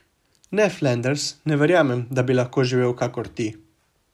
Ne, Flanders, ne verjamem, da bi lahko živel kakor ti.